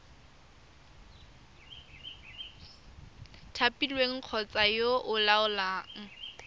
thapilweng kgotsa yo o laolang